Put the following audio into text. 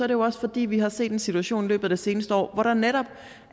det jo også fordi vi har set en situation i løbet af det seneste år hvor der netop